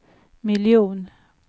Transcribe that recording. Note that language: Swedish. miljon